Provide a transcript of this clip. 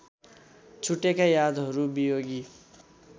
छुटेका यादहरू वियोगी